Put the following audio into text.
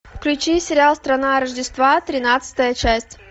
включи сериал страна рождества тринадцатая часть